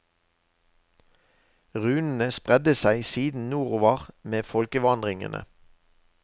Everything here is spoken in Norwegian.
Runene spredde seg siden nordover med folkevandringene.